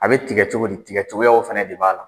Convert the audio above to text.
A bɛ tigɛ cogo di tigɛcogoyaw fana de b'a la